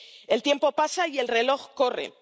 El tiempo pasa y el reloj corre.